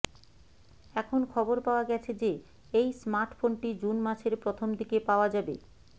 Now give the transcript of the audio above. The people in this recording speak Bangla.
এখন খবর পাওয়া গেছে যে এই স্মার্টফোনটি জুন মাসের প্রথম দিকে পাওয়া যাবে